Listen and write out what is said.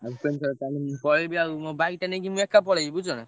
ଭୁବନେଶ୍ବର ତାହେଲେ ମୁଁ ପଳେଇବି ଆଉ ମୋ bike ଟା ନେଇକି ମୁଁ ଏକା ପଳେଇବି ବୁଝୁଛନା।